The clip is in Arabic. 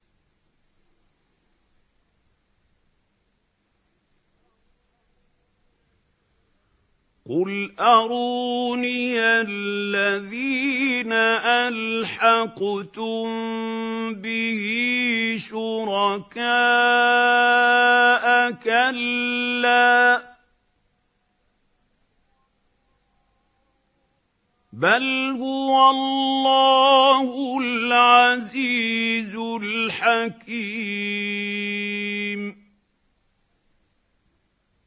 قُلْ أَرُونِيَ الَّذِينَ أَلْحَقْتُم بِهِ شُرَكَاءَ ۖ كَلَّا ۚ بَلْ هُوَ اللَّهُ الْعَزِيزُ الْحَكِيمُ